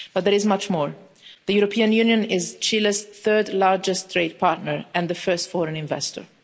But there is much more. The European Union is Chile's third largest trade partner and its first foreign investor.